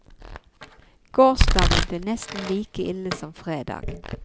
Gårsdagen ble nesten like ille som fredag.